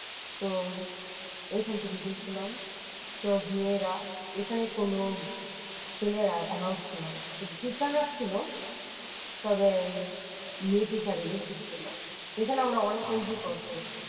তো ওইখান থেকে গিয়েছিলাম সব মেয়েরা এখানে কোন ছেলেরা এলাও ছিল না শুধু teacher ছিল তবে মেয়ে teacher রা বেশি ছিল যেখানে আমরা অনেক entry করছি।